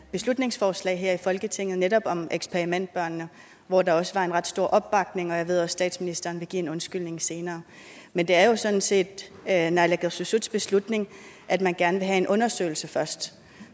beslutningsforslag her i folketinget netop om eksperimentbørnene hvor der også var en ret stor opbakning jeg ved også at statsministeren vil give en undskyldning senere men det er jo sådan set naalakkersuisuts beslutning at man gerne vil have en undersøgelse først